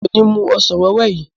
Mi ò ní mú ọsàn wẹ́wẹ́ yìí.